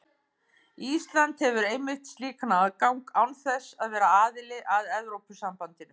Ísland hefur einmitt slíkan aðgang án þess að vera aðili að Evrópusambandinu.